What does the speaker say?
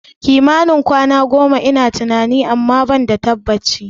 Kimanin kwana goma ina tunani, amma ban da tabbaci